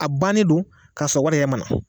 A bannen don k'a sɔrɔ wari yɛrɛ ma na